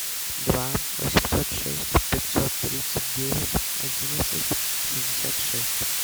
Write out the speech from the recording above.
два восемьсот шесть пятьсот тридцать девять одиннадцать шестьдесят шесть